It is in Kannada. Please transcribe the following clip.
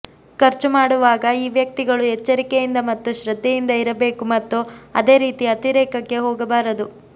ಖರ್ಚು ಮಾಡುವಾಗ ಈ ವ್ಯಕ್ತಿಗಳು ಎಚ್ಚರಿಕೆಯಿಂದ ಮತ್ತು ಶ್ರದ್ಧೆಯಿಂದ ಇರಬೇಕು ಮತ್ತು ಅದೇ ರೀತಿ ಅತಿರೇಕಕ್ಕೆ ಹೋಗಬಾರದು